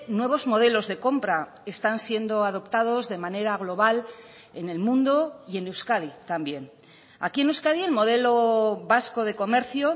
nuevos modelos de compra están siendo adoptados de manera global en el mundo y en euskadi también aquí en euskadi el modelo vasco de comercio